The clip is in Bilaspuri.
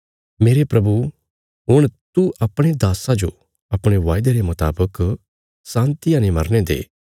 मेरे प्रभु हुण तू अपणे दास्सा जो अपणे वायदे रे मुतावक शान्तिया ने मरने दे